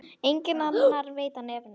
Enginn annar veit af nefinu.